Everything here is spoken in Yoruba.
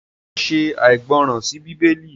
njé oò ṣe aìgbọràn sí Bíbélì?